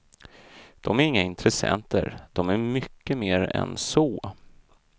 De är inga intressenter, de är mycket mer än så.